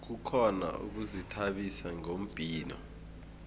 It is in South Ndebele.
kukhona ukuzithabisa ngombhino